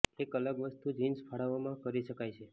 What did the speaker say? એક અલગ વસ્તુ જિન્સ ફાળવવામાં કરી શકાય છે